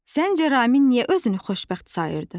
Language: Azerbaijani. Səncə Ramin niyə özünü xoşbəxt sayırdı?